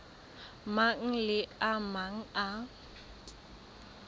mang le a mang a